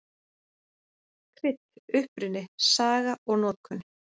Krydd: Uppruni, saga og notkun.